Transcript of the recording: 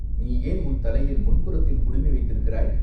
நீ ஏன் உன் தலையில் முன்புறத்தில் குடுமி வைத்திருக்கிறாய்?